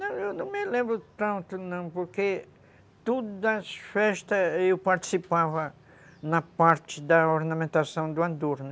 Não, eu não me lembro tanto não, porque todas as festas eu participava na parte da ornamentação do andor, né.